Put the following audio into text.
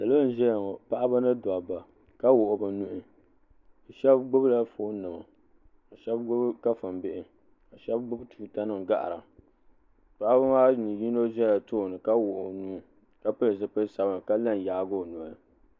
Salo n ʒɛya ŋɔ paɣaba ni dabba ka wuɣi bɛ nuhi sheba gbibi la fooni nima ka gbibi kafuni bihi sheba gbibi tuuta nima gahira paɣaba maa ni yino zala tooni ka wuɣi o nuu ka pili zipil'sabinli ka la n yaagi o noli.